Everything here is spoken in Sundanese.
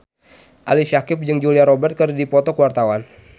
Ali Syakieb jeung Julia Robert keur dipoto ku wartawan